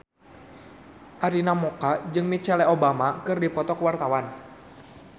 Arina Mocca jeung Michelle Obama keur dipoto ku wartawan